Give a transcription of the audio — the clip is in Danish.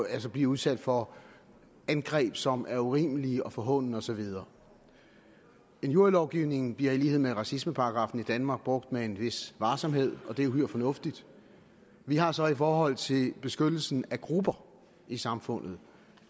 at blive udsat for angreb som er urimelige forhånende og så videre injurielovgivningen bliver i lighed med racismeparagraffen i danmark brugt med en vis varsomhed og det er uhyre fornuftigt vi har så i forhold til beskyttelsen af grupper i samfundet